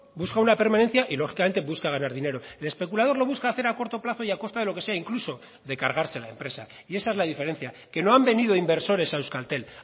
busca una permanencia y lógicamente busca ganar dinero el especulador lo busca hacer a corto plazo y a costa de lo que sea incluso de cargarse la empresa y esa es la diferencia que no han venido inversores a euskaltel